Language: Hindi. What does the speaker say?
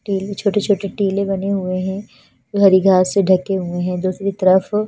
टिल में छोटे छोटे टीले बने हुए है हरी घास में ढके हुए है दूसरी तरफ --